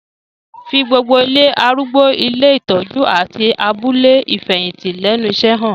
Fi gbogbo ilé arúgbó, ilé ìtọ́jú, àti abúlé ìfẹ̀yìntì lẹ́nu iṣẹ́ han